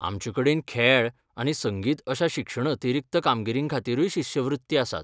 आमचेकडेन खेळ आनी संगीत अश्या शिक्षण अतिरिक्त कामगिरींखातीरूय शिश्यवृत्ती आसात.